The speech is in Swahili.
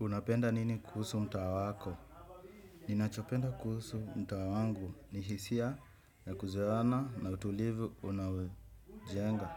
Unapenda nini kuhusu mtaa wako? Ninachopenda kuhusu mtaa wangu ni hisia ya kuzoeana na utulivu unaojenga.